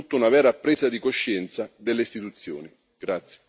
Occorre innanzitutto una vera presa di coscienza delle istituzioni.